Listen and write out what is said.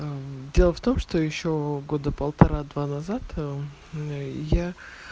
дело в том что ещё года полтора назад я